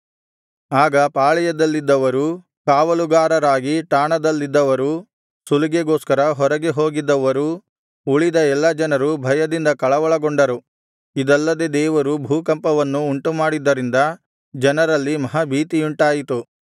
ಆಗ ಪಾಳೆಯದಲ್ಲಿದ್ದವರೂ ಕಾವಲುಗಾರರಾಗಿ ಠಾಣದಲ್ಲಿದ್ದವರೂ ಸುಲಿಗೆಗೋಸ್ಕರ ಹೊರಗೆ ಹೋಗಿದ್ದವರೂ ಉಳಿದ ಎಲ್ಲಾ ಜನರೂ ಭಯದಿಂದ ಕಳವಳಗೊಂಡರು ಇದಲ್ಲದೆ ದೇವರು ಭೂಕಂಪವನ್ನು ಉಂಟುಮಾಡಿದ್ದರಿಂದ ಜನರಲ್ಲಿ ಮಹಾಭೀತಿಯುಂಟಾಯಿತು